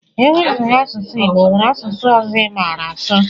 Iwezuga asụsụ igbo onwere asụsụ ọzọ imara asụ?